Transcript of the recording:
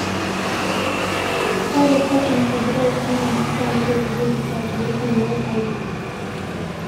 Ore Cotton o threads naa masaa naitobirieki pads naitumiai aitoki